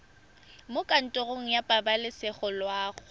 mo kantorong ya pabalesego loago